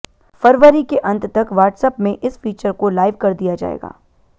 फरवरी के अंत तक व्हाट्सऐप में इस फीचर को लाइव कर दिया जाएगा